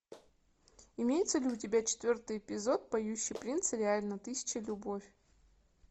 имеется ли у тебя четвертый эпизод поющий принц реально тысяча любовь